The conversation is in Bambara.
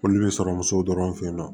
Foli bɛ sɔrɔ muso dɔrɔn fɛ yen nɔ